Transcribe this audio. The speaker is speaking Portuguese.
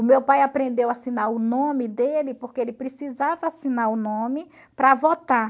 O meu pai aprendeu a assinar o nome dele, porque ele precisava assinar o nome para votar.